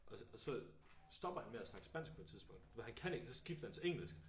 Og så og så stopper han med at snakke spansk på et tidspunkt for han kan ikke så skifter han til engelsk